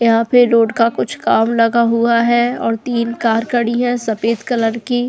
यहां पे रोड का कुछ काम लगा हुआ है और तीन कार खड़ी है सफेद कलर की --